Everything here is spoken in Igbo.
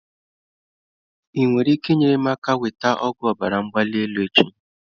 Ị nwere ike inyere m aka nweta ọgwụ ọbara mgbali elu echi?